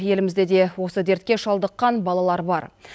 елімізде де осы дертке шалдыққан балалар бар